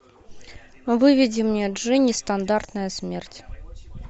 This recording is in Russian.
выведи мне джи нестандартная смерть